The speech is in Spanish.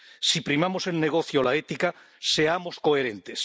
Si primamos el negocio a la ética, seamos coherentes.